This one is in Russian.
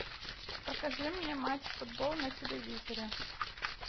покажи мне матч футбол на телевизоре